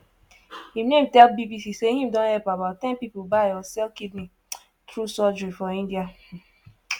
im name tell bbc say im don help about ten pipo buy or sell kidney through surgery for india.